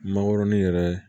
Mangoroni yɛrɛ